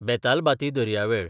बेतालबाती दर्यावेळ